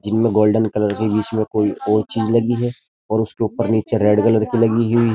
जिनमे golden colour की बीच मे कोई ओर चीज लगी है और उसके ऊपर नीचे रेड कलर की लगी हुई --